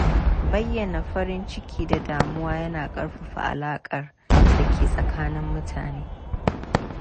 Bayyana farin ciki da damuwa yana ƙarfafa alaƙar da ke tsakanin mutane.